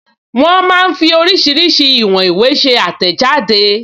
Wọ́n máa ń fí oríṣiríṣi ìwọn ìwé ṣe àtẹ̀jáde